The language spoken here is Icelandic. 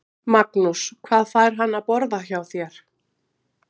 Magnús: Hvað fær hann að borða hjá þér?